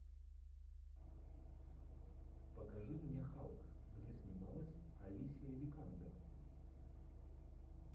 покажи мне халк где снималась алисия викандер